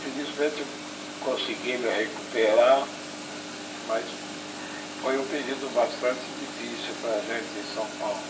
Felizmente eu consegui me recuperar, mas foi um período bastante difícil para a gente em São Paulo.